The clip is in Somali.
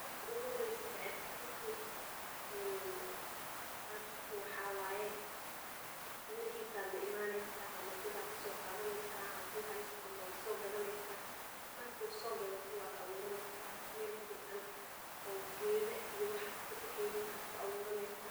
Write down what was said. Marki ugu horeyse bocor katito an qato waxaa waye mirahisa aya laimaneýa ama dad aya kaso qadhaneysa hadu hasto ama waa so gadhaneysa marka sogadhato waa aburaneysa meel fican oo gedha iyo waxas aad kabaxeynin aya ku aburaneysa